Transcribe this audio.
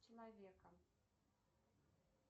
человека